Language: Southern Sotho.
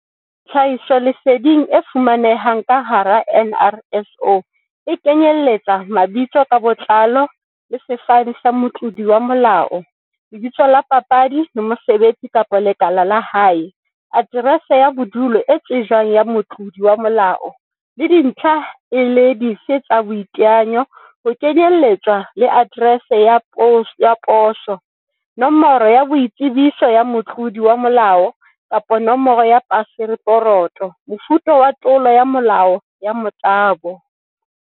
Tlhahisoleseding e fumanehang ka hara NRSO e kenyeletsa. Mabitso ka botlalo le sefane tsa motlodi wa molao, lebitso la papadi le mosebetsi kapa lekala la hae. Aterese ya bodulo e tsejwang ya Motlodi wa molao, le dintlha le ha e le dife tsa boiteanyo, ho kenyeletswa le aterese ya poso. Nomoro ya boitsebiso ya motlodi wa molao kapa nomoro ya paseporoto. Mofuta wa tlolo ya molao ya motabo.